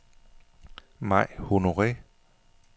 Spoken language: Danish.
Mai Honore